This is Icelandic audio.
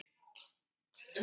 Þau heita Helga og